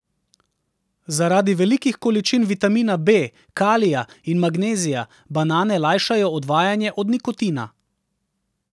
Zaradi velikih količin vitamina B, kalija in magnezija banane lajšajo odvajanje od nikotina.